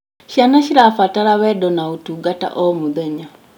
Ciana cirabatara wendo na ũtungata o mũthenya.